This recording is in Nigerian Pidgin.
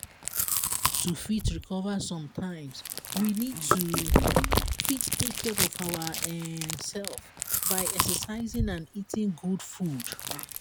to fit recover sometimes we need to fit take care of our um self by exercising and eating good food